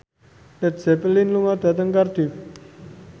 Led Zeppelin lunga dhateng Cardiff